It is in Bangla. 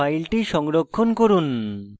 file সংরক্ষণ করুন